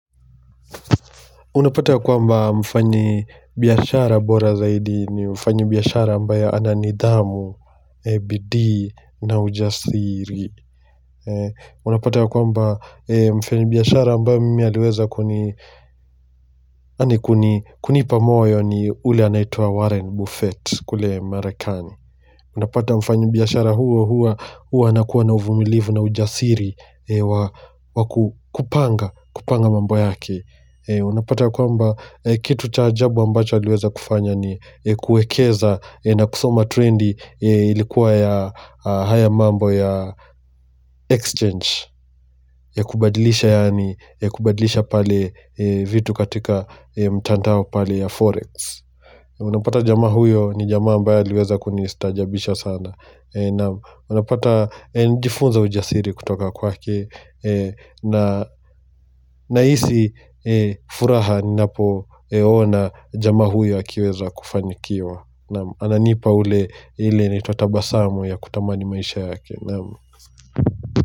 Unapata ya kwamba mfanyi biashara bora zaidi ni mfanyi biashara ambaye ananidhamu, bidii na ujasiri. Unapata ya kwamba mfanyi biashara ambaye mimi aliweza kunipa moyo ni ule anaitwa Warren Buffett kule marekani. Unapata mfanyi biashara huyo huwa anakuwa na uvumilivu na ujasiri wakupanga kupanga mambo yake. Unapata ya kwamba kitu cha ajabu ambacho aliweza kufanya ni kuekeza na kusoma trendi ilikuwa ya haya mambo ya exchange ya kubadilisha yaani ya kubadilisha pale vitu katika mtandao pale ya forex Unapata jamaa huyo ni jamaa ambaye aliweza kunistaajabisha sana Unapata nilijifunza ujasiri kutoka kwake na nahisi furaha ninapoona jamaa huyo akiweza kufanikiwa Ananipa ule, ile inaitwa tabasamu ya kutamani maisha yake.